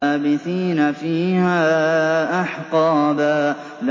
لَّابِثِينَ فِيهَا أَحْقَابًا